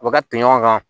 U bɛ ka ten ɲɔgɔn kan